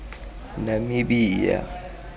namibia